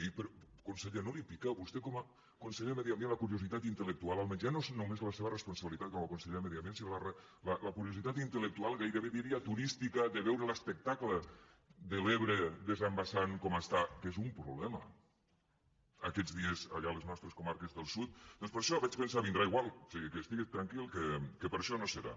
i conseller no li pica a vostè com a conseller de medi ambient la curiositat intel·lectual almenys ja no és només la seva responsabilitat com a conseller de medi ambient sinó la curiositat intellectual gairebé diria turística de veure l’espectacle de l’ebre desembassant com està que és un problema aquests dies allà a les nostres comarques del sud doncs per això vaig pensar vindrà igual o sigui que estigues tranquil que per això no serà